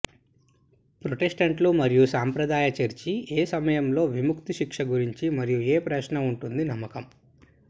ప్రొటెస్టంటులు మరియు సంప్రదాయ చర్చి ఏ సమయంలో విముక్తి శిక్ష గురించి మరియు ఏ ప్రశ్న ఉంటుంది నమ్మకం